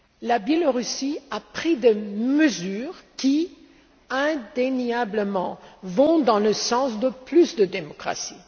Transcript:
Le Belarus a pris des mesures qui indéniablement vont dans le sens de plus de démocratie.